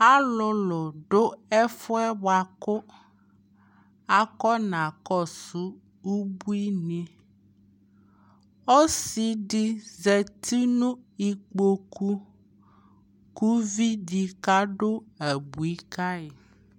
alʋlʋ dʋ ɛƒʋɛ bʋakʋ akɔna kɔsʋ ʋbʋini, ɔsiidi zati nʋ ikpɔkʋ kʋ ʋvibdi ka dʋ abʋi kayi